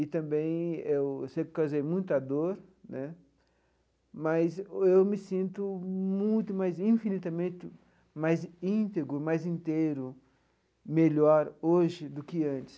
E também eu eu sei que causei muita dor né, mas eu me sinto muito mais, infinitamente mais íntegro, mais inteiro, melhor hoje do que antes.